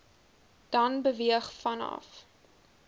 dan beweeg vanaf